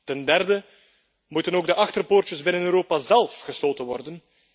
Ten derde moeten ook de achterpoortjes binnen Europa zélf gesloten worden.